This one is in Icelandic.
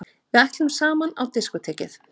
Við ætluðum saman á diskótekið!